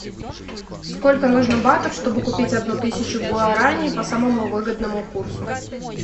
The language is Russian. сколько нужно батов чтобы купить одну тысячу гуарани по самому выгодному курсу